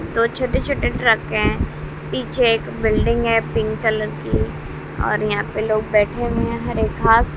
दो छोटे छोटे ट्रक है पीछे एक बिल्डिंग है पिंक कलर की और यहां पे लोग बैठे हुए हैं हरे घास--